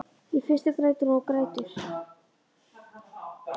Í fyrstu grætur hún og grætur.